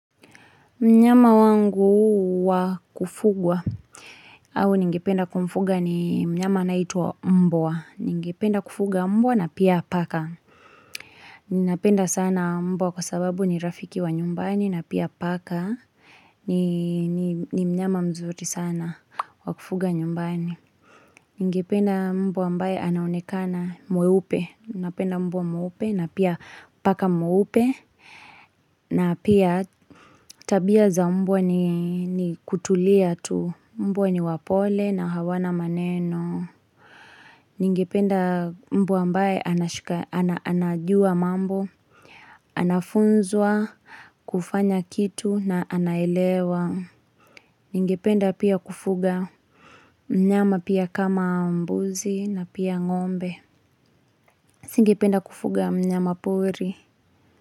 Mnyama wangu wa kufugwa au ningependa kumfuga ni mnyama anayeitwa mbwa. Ningependa kufuga mbwa na pia paka. Ninapenda sana mbwa kwa sababu ni rafiki wa nyumbani na pia paka. Ni mnyama mzuri sana wakufuga nyumbani. Ningependa mbwa ambaye anaonekana mweupe. Napenda mbwa mweupe na pia paka mweupe. Na pia tabia za mbwa ni kutulia tu. Mbwa ni wapole na hawana maneno. Ningependa mbwa ambaye anajua mambo Anafunzwa kufanya kitu na anaelewa Ningependa pia kufuga mnyama pia kama mbuzi na pia ngombe Singependa kufuga mnyama pori.